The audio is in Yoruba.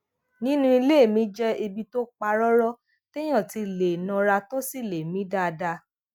nínú ilé mi jé ibi tó pa róró téèyàn ti lè nara tó sì lè mí dáadáa